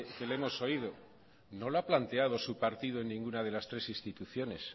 le hemos oído no la ha planteado su partido en ninguna de las tres instituciones